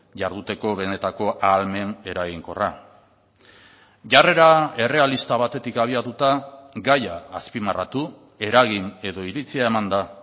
jarduteko benetako ahalmen eraginkorra jarrera errealista batetik abiatuta gaia azpimarratu eragin edo iritzia eman da